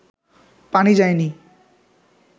পানি যায়নি